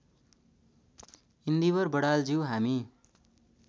इन्दिवर बडालज्यू हामी